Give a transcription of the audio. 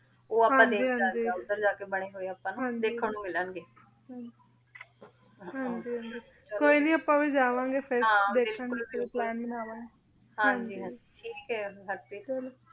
ਊ ਆਪਾਂ ਦੇਖ ਸਕਦੇ ਆਂ ਓਧਰ ਜਾ ਕੇ ਬਣੇ ਹੋਆਯ ਆਪਾਂ ਨੂ ਦੇਖਣ ਨੂ ਮਿਲਣ ਗੇ ਹਾਂਜੀ ਹਾਂਜੀ ਕੋਈ ਨਾਈ ਆਪਾਂ ਵੀ ਜਵਾਨ ਗੇ ਫੇਰ ਹਾਂ ਬਿਲਕੁਲ ਬਿਲਕੁਲ ਹਾਂਜੀ ਹਾਂਜੀ ਠੀਕ ਆਯ ਫੇਰ